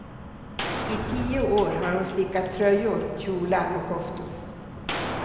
I tio år har hon stickat tröjor, kjolar och koftor.